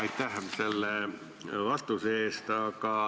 Aitäh selle vastuse eest!